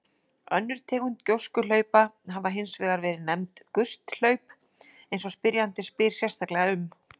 Önnur tegund gjóskuhlaupa hafa hins vegar verið nefnd gusthlaup eins og spyrjandi spyr sérstaklega um.